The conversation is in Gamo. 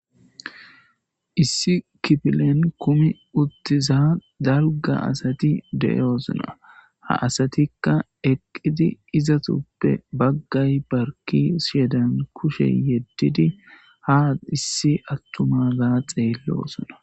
Issi kifilen kumi uttizadalga asati de'osona ha asatika eqodi izetupe bagay haysadan kushe yedidi ha issi attumaza xeelosona